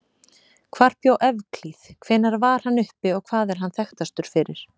Hvar bjó Evklíð, hvenær var hann uppi og hvað er hann þekktastur fyrir?